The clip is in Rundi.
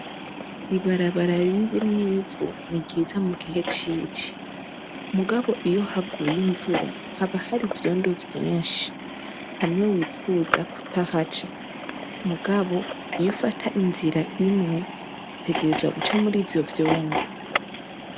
Ibarabara ririmw'ivu, ni ryiza mu gihe cici. Mugabo iyo haguye imvura haba hari ivyondo vyinshi, hamwe wipfuza kutahaca, Mugabo iyo ifata inzira imwe, utegerzwa guca murivyo vyondo.